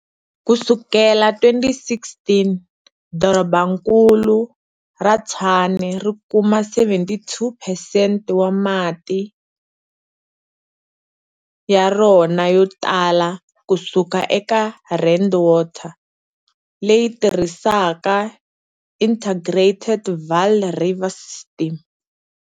Kusukela 2016, Dorobankulu ra Tshwane ri kuma 72 percent wa mati ya rona yo tala kusuka eka Rand Water, leyi tirhisaka Integrated Vaal River System.